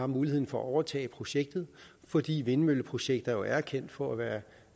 muligheden for overtage projektet fordi vindmølleprojekter jo er kendt for at være